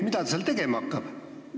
Mida ta seal tegema hakkab?